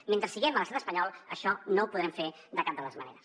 mentre siguem a l’estat espanyol això no ho podrem fer de cap de les maneres